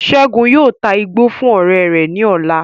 Segun yóò tá igbó fún ọrẹ rẹ ní ọ̀la